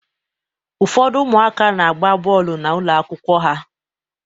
Ụfọdụ ụmụaka na-agba bọọlụ n'ụlọ akwụkwọ ha